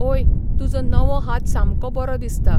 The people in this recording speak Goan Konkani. ओय, तुजो नवो हात सामको बरो दिसता.